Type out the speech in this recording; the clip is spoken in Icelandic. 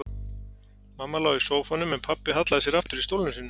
Mamma lá í sófanum en pabbi hallaði sér aftur í stólnum sínum.